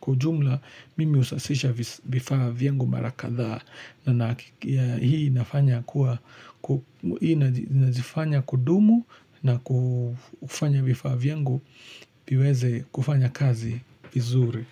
Kwa ujumla, mimi husasisha vifaa vyangu mara kadhaa na hii nazifanya kudumu na kufanya vifaa vyangu viweze kufanya kazi vizuri.